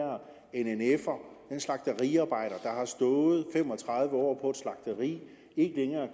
nnf’er en slagteriarbejder der har stået fem og tredive år på et slagteri ikke længere